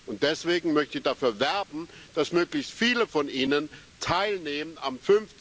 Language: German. Und deswegen möchte ich dafür werben, dass möglichst viele von Ihnen am